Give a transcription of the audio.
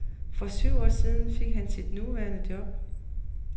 For syv år siden fik han sit nuværende job.